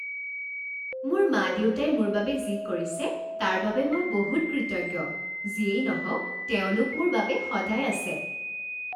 মোৰ মা দেউতাই মোৰ বাবে যি কৰিছে তাৰ বাবে মই বহুত কৃতজ্ঞ। যিয়েই নহওক তেওঁলোক মোৰ বাবে সদায় আছে।